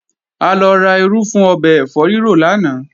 A lọ ra irú fún ọbẹ̀ ẹ̀fọ́ rírò lánàá